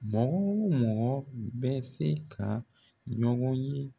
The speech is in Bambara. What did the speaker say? Mɔgɔ mɔgɔ bɛ se ka ɲɔgɔn ye